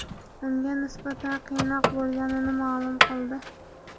unga nisbatan qiynoq bo‘lganini ma’lum qildi.